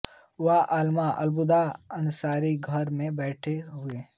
वह अल्लामा अब्दुल्ला अंसारी के घर में बड़े हुए